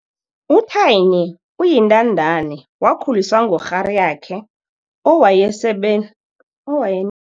U-Thaini uyintandani, wakhuliswa ngukghariyakhe owayesebe owaye